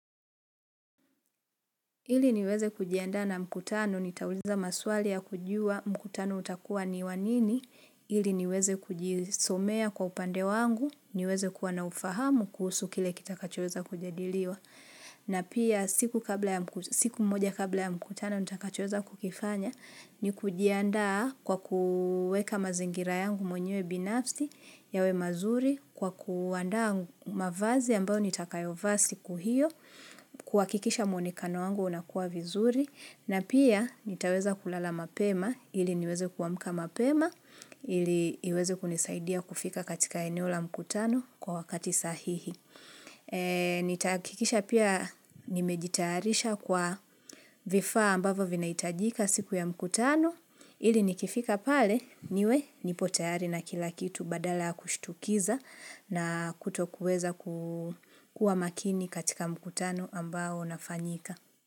Ili niweze kujianda na mkutano, nitauliza maswali ya kujua mkutano utakuwa ni wanini, ili niweze kujisomea kwa upande wangu, niweze kuwa na ufahamu kuhusu kile kitakachoeza kujadiliwa. Na pia siku mmoja kabla ya mkutano, nita kachoeza kukifanya ni kujianda kwa kuweka mazingira yangu mwenyewe binafsi yawe mazuri kwa kuanda mavazi ambao nitakayovaa siku hio, kuhakikisha muonekano wangu unakuwa vizuri. Na pia nitaweza kulala mapema ili niweze kuamka mapema ili niweze kunisaidia kufika katika eneo la mkutano kwa wakati sahihi. Nitahakikisha pia nimejitarisha kwa vifaa ambavo vinaitajika siku ya mkutano ili nikifika pale niwe nipo tayari na kila kitu badala kushitukiza na kuto kuweza kuwa makini katika mkutano ambao nafanyika.